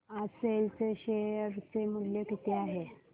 आज सेल चे शेअर चे मूल्य किती आहे